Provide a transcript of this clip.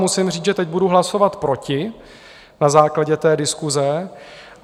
Musím říct, že teď budu hlasovat proti na základě té diskuse.